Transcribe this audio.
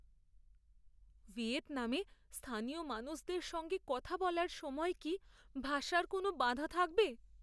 ভিয়েতনামে স্থানীয় মানুষদের সঙ্গে কথা বলার সময় কি ভাষার কোনও বাধা থাকবে?